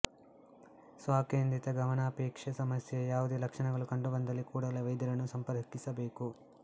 ಸ್ವಕೇಂದ್ರಿತ ಗಮಾನಪೇಕ್ಷೆ ಸಮಸ್ಯೆಯ ಯಾವುದೇ ಲಕ್ಷಣಗಳು ಕಂಡುಬಂದಲ್ಲಿ ಕೂಡಲೇ ವೈದ್ಯರನ್ನು ಸಂಪರ್ಕಿಸ ಬೇಕು